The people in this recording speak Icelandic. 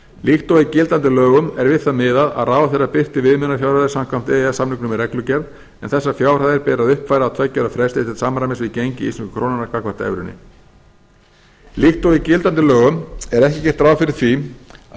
líkt og í gildandi lögum er við það miðað að ráðherra birti viðmiðunarfjárhæðir samkvæmt e e s samningum með reglugerð en þessar fjárhæðir ber að uppfæra á tveggja ára fresti til samræmis við gengi íslensku krónunnar gagnvart evrunni líkt og í gildandi lögum er ekki gert ráð fyrir því að